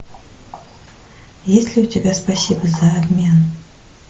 есть ли у тебя спасибо за обмен